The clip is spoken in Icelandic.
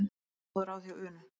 Fékk svo góð ráð hjá Unu.